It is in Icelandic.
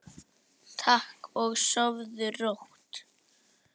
Takk og sofðu rótt.